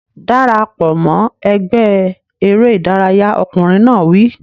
Dara pọ̀ mọ́ ẹgbẹ́ eré ìdárayá! Ọkùnrin náà wí.